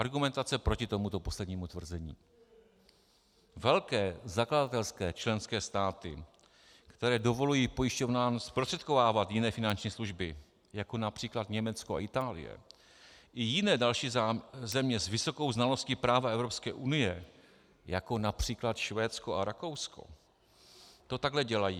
Argumentace proti tomuto poslednímu tvrzení: Velké zakladatelské členské státy, které dovolují pojišťovnám zprostředkovávat jiné finanční služby, jako například Německo a Itálie, i jiné další země s vysokou znalostí práva Evropské unie, jako například Švédsko a Rakousko, to takhle dělají.